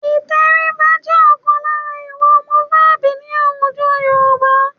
Ìtẹríba jẹ́ ọ̀kan lára ìwà ọmọlúàbí ní àwùjọ Yorùbá